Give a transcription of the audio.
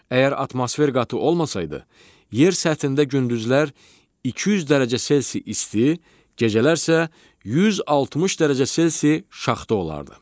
Əgər atmosfer qatı olmasaydı, yer səthində gündüzlər 200 dərəcə Selsi isti, gecələr isə 160 dərəcə Selsi şaxta olardı.